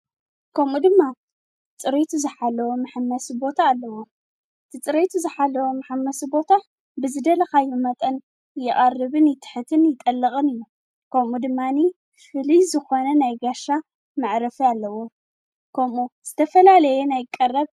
ከምኡ ድማ ጽርይት ዝሓለዎ ምሓመሲ ቦታ ኣለዎ ጽርየቱ ዝኃለዎ ምሓመስ ቦታ ብዝደለኻዮ መጠን የቓርብን ይትሕትን ይጠልቕን እዩ ከምኡ ድማኒ ፍሊ ዝኾነን ኣይጋይሽ መዕረፊ ኣለዎ ከምኡ ዝተፈላለየ ቀረብ ኣለዎ።